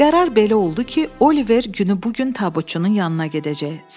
Qərar belə oldu ki, Oliver günü bu gün tabutçunun yanına gedəcək.